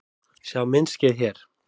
Sjá myndskeið hér